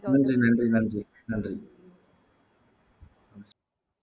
நன்றி நன்றி நன்றி நன்றி